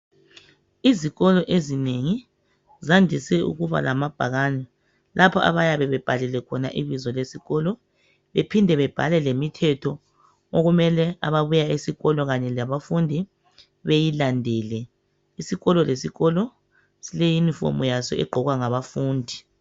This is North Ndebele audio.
Izikolo ezinengi zandise ukuba lamabhakane. Lapho abayabe bebhalile khona ibizo lesikolo, bephinde bebhale lemithetho okumele ababuyesikolo kanye labafundi bayilandele . Isikolo lesikolo sile yunifomu yaso egqokwa ngabafundi.